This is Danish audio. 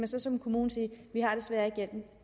så som kommune sige vi har desværre ikke hjælpen